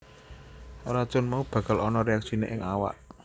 Racun mau bakal ana reaksiné ing awak